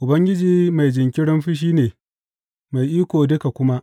Ubangiji mai jinkirin fushi ne, mai iko duka kuma.